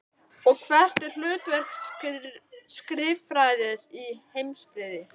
Og hvert er hlutverk skrifræðis í heimsfriði?